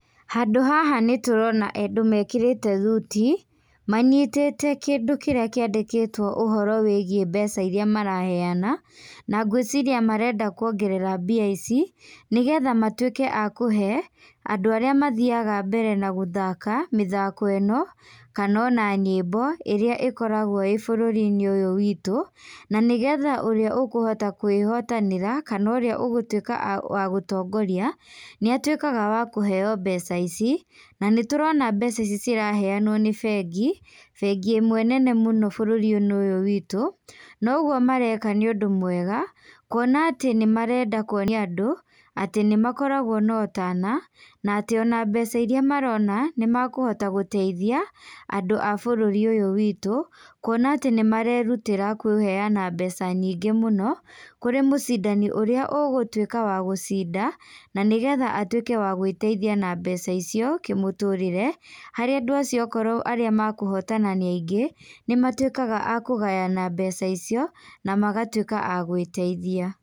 Handũ haha nĩtũrona andũ mekĩrĩte thuti, manyitĩte kĩndũ kĩrĩa kĩandĩkĩtwo ũhoro wĩgie mbeca iria maraheana, na ngwĩciria marenda kuongerera mbia ici, nĩgetha matuĩke a kũhe, andũ arĩa mathiaga mbere na gũthaka, mĩthako ĩno, kana ona nyĩmbo ĩrĩa ĩkoragwo ĩ bũrũriinĩ ũyũ witũ, na nĩgetha ũrĩa ũkũhota kwĩhotanĩra, kana ũrĩa ũgũtuĩka wa gũtongoria, nĩatuĩkaga wa kũheo mbeca ici, nanĩtũrona mbeca ici ciraheanwo nĩ bengi, bengi ĩmwe nene mũno bũrũriinĩ ũyũ witũ, naũgwo mareka nĩũndũ mwega, kuona atĩ nĩmarenda kuonia andũ, atĩ nĩmakoragwo na ũtana, na atĩ ona mbeca iria marona, nĩmakũhota gũteithia, andũ a bũrũri ũyũ witũ, kuona atĩ nĩmarerutĩra kũheana mbeca nyingĩ mũno, kũrĩ mũcindani ũrĩa ũgũtuĩka wa gũcinda, na nĩgetha atuĩke wa gwĩteithia na mbeca icio kĩmũtũrĩre, harĩa andũ acio okorwo arĩa makuhotana nĩ aingĩ, nĩmatuĩkaga akũgayana mbeca icio, namagatuĩka agwĩteithia.